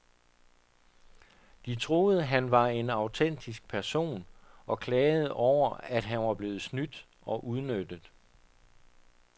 De troede, han var en autentisk person, og klagede over at han var blevet snydt og udnyttet.